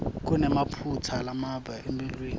kunemaphutsa lambalwa elulwimi